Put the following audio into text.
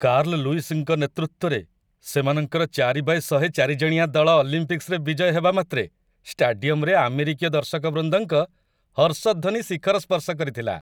Carl ଲୁଇସ୍‌ଙ୍କ ନେତୃତ୍ୱରେ ସେମାନଙ୍କର ୪x୧୦୦ ଚାରିଜଣିଆ ଦଳ ଅଲିମ୍ପିକ୍ସରେ ବିଜୟ ହେବା ମାତ୍ରେ, ଷ୍ଟାଡିୟମରେ ଆମେରିକୀୟ ଦର୍ଶକବୃନ୍ଦଙ୍କ ହର୍ଷଧ୍ୱନି ଶିଖର ସ୍ପର୍ଶ କରିଥିଲା।